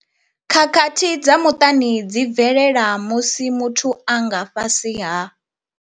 Khakhathi dza muṱani dzi bvelela musi muthu a nga fhasi ha.